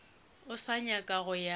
o sa nyaka go ya